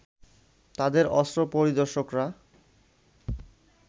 তাদের অস্ত্র পরিদর্শকরা